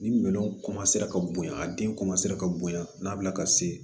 Ni minɛnw ka bonya a den ka bonya n'a bila ka se